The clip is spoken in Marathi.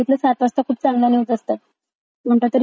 कोणता तरी चॅनल आहे त्यांना विचारायला लागेल मला एकदा..